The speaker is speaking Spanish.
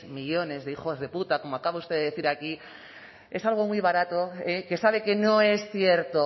millónes de hijos de puta como acaba usted de decir aquí es algo muy barato que sabe que no es cierto